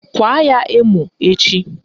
Kwaa ya emo echi!